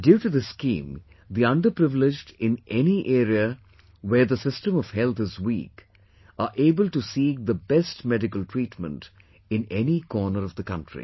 Due to this scheme, the underprivileged in any area where the system of health is weak are able to seek the best medical treatment in any corner of the country